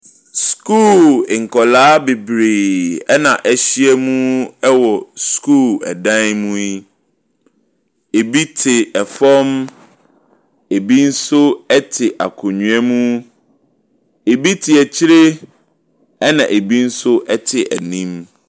Sukuu nkwadaa bebree na wɔahyia mu wɔ sukuu dan mu yi. Ɛbi te fam, ɛbi nso te akonnwa mu. Ɛbi te akyire, ɛna ɛbi nso te anim.